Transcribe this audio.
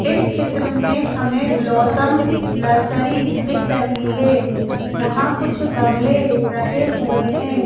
इस चित्र में हमें ब्लॉसम नर्सरी दिख रही है यहां कुछ गमले रखे हुए हैं।